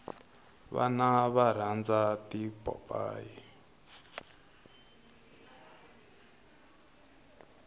vana va rhandza tipopayi